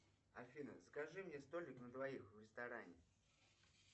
афина закажи мне столик на двоих в ресторане